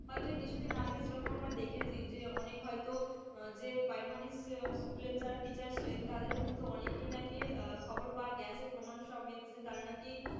হয়তো এ কিছুদিন আগে যেরকম আমরা দেখেছি যে অনেক হয়তো যে primary school যারা টিচার ছিলেন তাদের কিন্তু অনেকেই নাকি খবর পাওয়া গেছে প্রমাণ সমেত যে তারা নাকি,